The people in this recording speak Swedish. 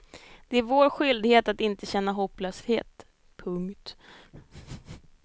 Det är vår skyldighet att inte känna hopplöshet. punkt